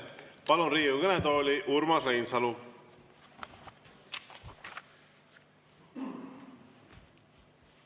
Palun Riigikogu kõnetooli Urmas Reinsalu.